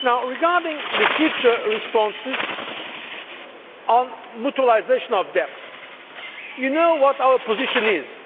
Regarding the future responses on mutualisation of debt, you know what our position is.